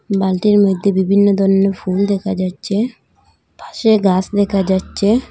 বালতির মধ্যে বিভিন্ন ধরনের ফুল দেখা যাচ্ছে পাশে গাস দেখা যাচ্ছে।